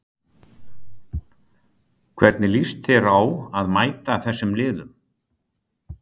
Hvernig líst þér á að mæta þessum liðum?